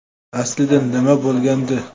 Aslida nima bo‘lgandi?